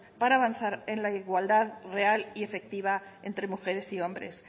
para avanzar en la igualdad real y efectiva entre mujeres y hombres